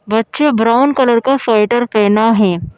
बच्चे brown colour का sweater पहना है।